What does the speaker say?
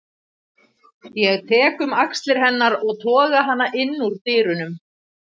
Ég tek um axlir hennar og toga hana inn úr dyrunum.